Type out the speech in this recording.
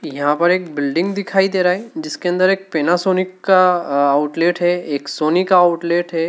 यहां पर एक बिल्डिंग दिखाई दे रहा है जिसके अंदर एक पैनासोनिक का अह आउटलेट है एक सोनी का आउटलेट है।